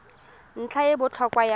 ntlha e e botlhokwa ya